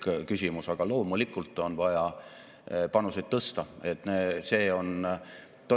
Siit koorubki Eesti majanduse ja ministrina ka minu peamine väljakutse saavutada Eesti majanduse tugev uuendusmeelne ja vastutustundlik kasv demograafilisele vaatamata.